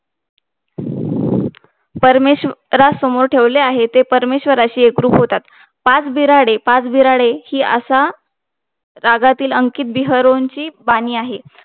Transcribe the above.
परमेश्वरासमोर ठेवले आहे ते परमेश्वराशी एकरूप होतात पाच बिराडे पाच बिराडे हि असा रागातील हि अंकित बिहरोचीं बानी आहे